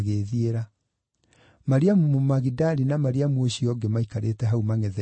Mariamu Mũmagidali na Mariamu ũcio ũngĩ maikarĩte hau mangʼetheire mbĩrĩra.